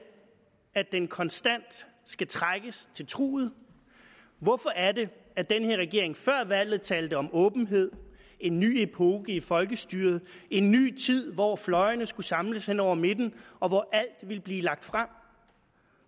at den konstant skal trækkes til truget hvorfor er det at den her regering før valget talte om åbenhed en ny epoke i folkestyret en ny tid hvor fløjene skulle samles hen over midten og hvor alt ville blive lagt frem